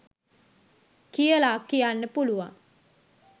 කියලා කියන්න පුලුවන්.